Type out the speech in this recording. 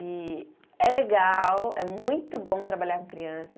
E é legal, é muito bom trabalhar com criança.